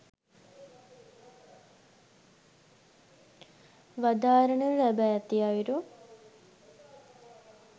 වදාරනු ලැබ ඇති අයුරු